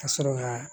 Ka sɔrɔ ka